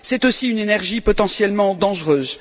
C'est aussi une énergie potentiellement dangereuse.